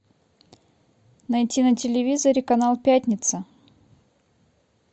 найти на телевизоре канал пятница